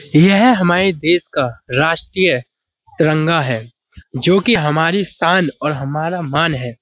यह हमारे देश का राष्ट्रीय तिरंगा है जोकि हमारी शान और हमारा मान है।